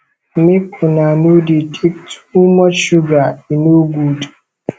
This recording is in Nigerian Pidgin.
make una no dey take too much sugar e no good